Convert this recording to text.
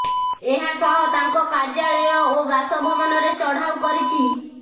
ଏହା ସହ ତାଙ୍କ କାର୍ଯ୍ୟାଳୟ ଓ ବାସଭବନରେ ଚଢାଉ କରିଛି